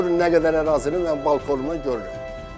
Görün nə qədər ərazini mən balkonumda görürəm.